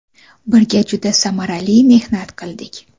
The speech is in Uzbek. Birga juda samarali mehnat qildik.